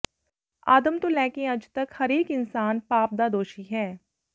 ਆਦਮ ਤੋਂ ਲੈ ਕੇ ਅੱਜ ਤਕ ਹਰੇਕ ਇਨਸਾਨ ਪਾਪ ਦਾ ਦੋਸ਼ੀ ਹੈ